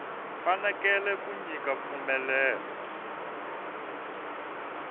fanekele ku nyika mpfumelelo wa